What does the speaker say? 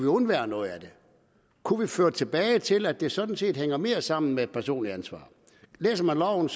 undværet noget af den kunne vi føre det tilbage til at det sådan set hænger mere sammen med et personligt ansvar læser man loven